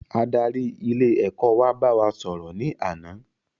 Adarí ilé ẹ̀kọ́ wa bá wa sò rò ní àná